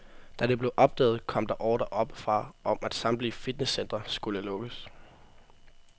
Da det blev opdaget, kom der ordre oppe fra om, at samtlige fitnesscentre skulle lukkes.